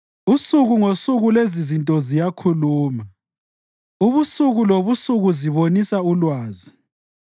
Usuku ngosuku lezizinto ziyakhuluma; ubusuku lobusuku zibonisa ulwazi.